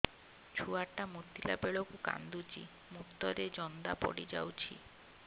ଛୁଆ ଟା ମୁତିଲା ବେଳକୁ କାନ୍ଦୁଚି ମୁତ ରେ ଜନ୍ଦା ପଡ଼ି ଯାଉଛି